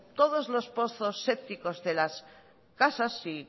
todos los pozos sépticos de las casas si